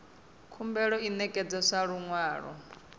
khumbelo i ṋekedzwa sa luṅwalo